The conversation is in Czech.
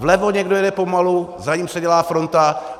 Vlevo někdo jede pomalu, za ním se dělá fronta.